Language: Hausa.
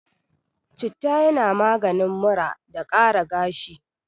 Citta yana maganin mura da ƙara gashi.